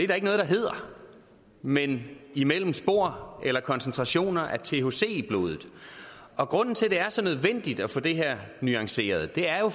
der ikke noget der hedder men imellem spor eller koncentrationer af thc i blodet og grunden til at det er så nødvendigt at få det her nuanceret er jo